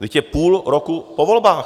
Vždyť je půl roku po volbách.